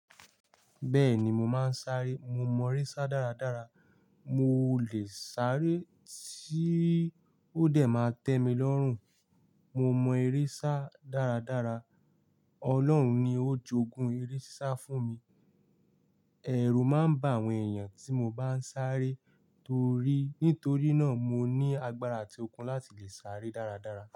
Bẹ́ẹ̀ni mo máa ń sáré, mo mọ eré sá dáradára. Mo lè sáré tí ó dẹ̀ ma tẹ́ mi lọ́rùn. Mo mọ eré sá dáradára. Ọlọ́run ni ó jogun eré sisá fún mi. Ẹ̀rù máa ń ba àwọn èèyàn tí mo bá ń sáré torí, nítorí náà mo ní agbára àti okun láti lè sáré dáradára.